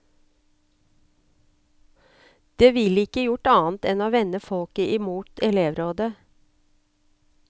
Det ville ikke gjort annet enn å vende folket imot elevrådet.